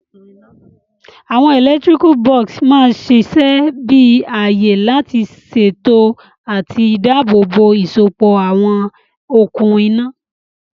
Àwon electrical box ma sisẹ bi àyè lá sèto àti dáàbò bò ìsopọ̀ àwon okùn iná